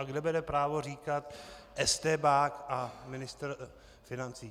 A kde bere právo říkat estébák a ministr financí?